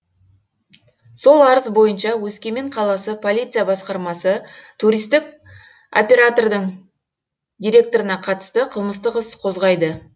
сол арыз бойынша өскемен қаласы полиция басқармасы туристік опертордың директорына қатысты қылмыстық іс қозғайды